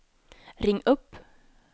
ring upp